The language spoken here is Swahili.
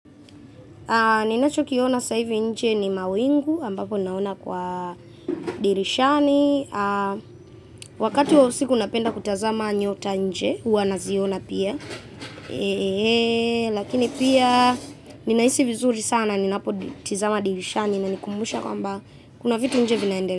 Ninachokiona saa hivi nje ni mawingu ambapo ninaona kwa dirishani. Wakati wa usiku napenda kutazama nyota nje, huwa naziona pia. Lakini pia ninahisi vizuri sana, ninapotazama dirishani inanikumbusha kwamba kuna vitu nje vinaendelea.